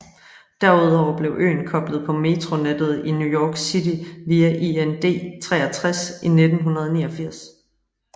Derudover blev øen koblet på metronettet i New York City via IND 63 i 1989